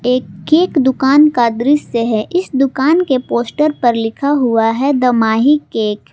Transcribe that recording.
एक केक दुकान का दृश्य है इस दुकान के पोस्टर पर लिखा हुआ है द माही केक ।